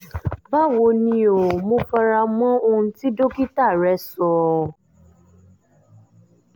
báwo ni o? mo fara mọ́ ohun tí dókítà rẹ sọ